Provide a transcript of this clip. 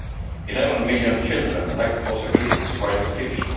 Eleven million children lack possibilities for education.